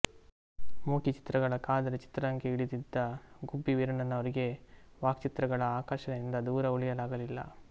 ಮೂಕಿ ಚಿತ್ರಗಳ ಕಾಲದಲ್ಲೇ ಚಿತ್ರರಂಗಕ್ಕೆ ಇಳಿದಿದ್ದ ಗುಬ್ಬಿ ವೀರಣ್ಣನವರಿಗೆ ವಾಕ್ಚಿತ್ರಗಳ ಆಕರ್ಷಣೆಯಿಂದ ದೂರ ಉಳಿಯಲಾಗಲಿಲ್ಲ